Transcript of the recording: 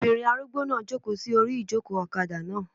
Obìnrin arúgbó náà n jòkó sí orí ìjòkó ọ̀kadà náà